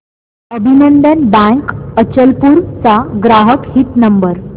अभिनंदन बँक अचलपूर चा ग्राहक हित नंबर